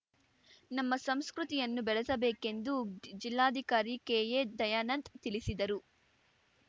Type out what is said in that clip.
ನಮ್ಮ ಸಂಸ್ಕೃತಿಯನ್ನು ಬೆಳೆಸಬೇಕೆಂದು ಜಿಲ್ಲಾಧಿಕಾರಿ ಕೆಎದಯಾನಂದ್‌ ತಿಳಿಸಿದರು